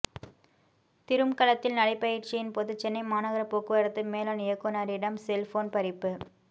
திரும்கலத்தில் நடைபயிற்சியின் போது சென்னை மாநகர போக்குவரத்து மேலான் இயக்குனரிடம் செல்போன் பறிப்பு